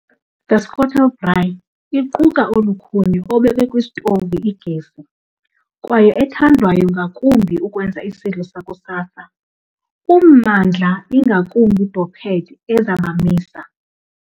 The Skottel Braai iquka olukhuni obekwe kwisitovu igesi, kwaye ethandwayo ngakumbi ukwenza isidlo sakusasa, ummandla ingakumbi doped eza bamisa.